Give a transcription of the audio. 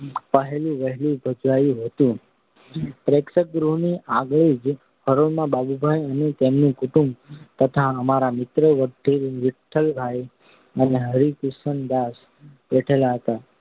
પહેલ વહેલું ભજવાયું હતું. પ્રેક્ષકગૃહની આગલી જ હરોળમાં બાબુભાઈ અને તેમનું કુટુંબ તથા અમારા મિત્ર વિઠ્ઠલદાસ અને હરકિશનદાસ બેઠેલા હતા.